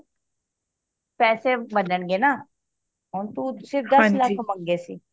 ਪੈਸੇ ਬਣਨ ਗਏ ਨਾ ਹੁਣ ਤੂੰ ਸਿੱਧਾ ਦੱਸ ਲੱਖ ਮੰਗੇ ਸੀ